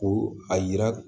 Ko a yira